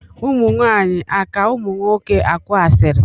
ụmụnwaanyị aka ụmụnwoke akụ asịrị?